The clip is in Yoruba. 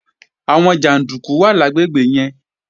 Àwọn jàndúkú wà lágbègbè yẹn